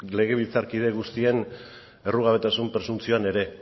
legebiltzarkide guztien errugabetasun presuntzioan ere